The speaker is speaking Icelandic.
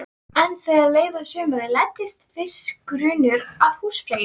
En þegar leið á sumarið læddist viss grunur að húsfreyju.